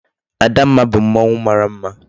Adamma bu mmanwu mara mma